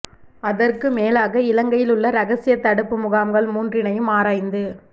அதற்கும் மேலாக இலங்கையில் உள்ள இரகசிய தடுப்பு முகாம்கள் மூன்றினையும் ஆராய்ந்து